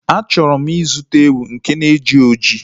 A chọrọ m ịzụta ewu nke na-eji oji